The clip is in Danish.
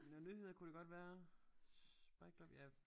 Noget nyheder kunne det godt være synes bare ikke ja